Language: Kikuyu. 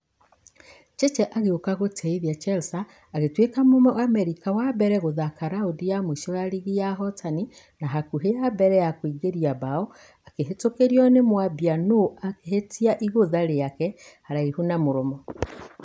Cheche agĩũka gũtĩithia chelsea agĩtueka mũamerica wa mbere gũthaka raundi ya mũisho ya rigi ya ahotani na hakuhĩ wa mbere kũingĩria bao ahĩtũkĩrio nĩ mwambia nũ akĩhĩtia igũtha rĩake haraihu na mũromo .